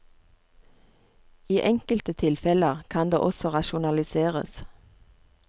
I enkelte tilfeller kan det også rasjonaliseres.